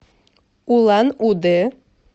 улан удэ